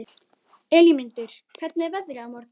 Elínmundur, hvernig er veðrið á morgun?